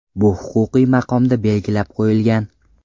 Bu huquqiy maqomda belgilab qo‘yilgan.